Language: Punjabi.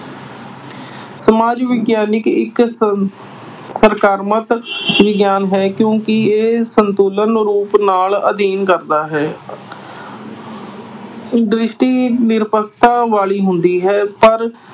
ਸਮਾਜ ਵਿਗਿਆਨ ਇੱਕ ਅਹ ਸਕਾਰਾਤਮਕ ਵਿਗਿਆਨ ਹੈ। ਕਿਉਂ ਕਿ ਇਹ ਸੰਪੂਰਨ ਰੂਪ ਨਾਲ ਅਧਿਐਨ ਕਰਦਾ ਹੈ। ਦ੍ਰਿਸ਼ਟੀ ਨਿਰਭਰਤਾ ਵਾਲੀ ਹੁੰਦੀ ਹੈ ਪਰ